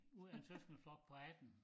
Ud af en søskendeflok på 18